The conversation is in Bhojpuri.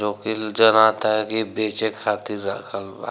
जोकील जनाता है की बेचे खातिर राखल बा।